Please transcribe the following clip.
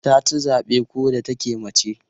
Ta ci zabe ko da take mace.